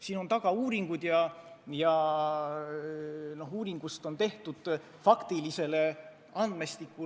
Selle taga on uuringud ja nende põhjal saadud faktiline andmestik.